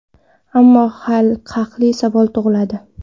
Ammo haqli savol tug‘iladi.